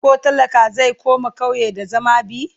koh talaka zai koma ƙauye da zama be?